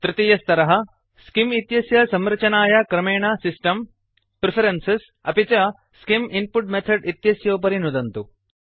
तृतीयस्तरः scheme इत्यस्य संरचनाय क्रमेण सिस्टम् प्रेफरेन्सेस् अपि च स्किम् इन्पुट मेथोड इत्यस्योपरि नुदन्तु